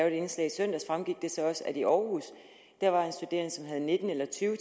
et indslag i søndags fremgik det så også at der i århus var en studerende som havde nitten eller tyve